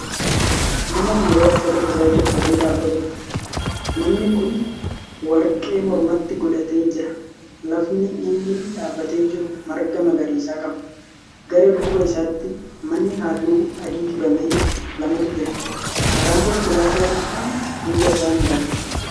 Nama dhiiraa uffata gurraacha uffatee dhaabatuudha. namni Kuni warqee mormatti godhatee jira. lafni inni dhaabatee jiru marga magariisa qaba. gara duuba isaatti manni halluu adii dibamee lamatu jira. karan konkolaataa dhiphaan duuba isaan darba.